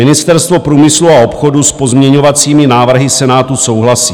Ministerstvo průmyslu a obchodu s pozměňovacími návrhy Senátu souhlasí.